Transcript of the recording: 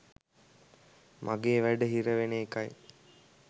මගේ වැඩ හිරවෙන එකයි